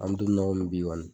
An mi don min na komi bi kɔni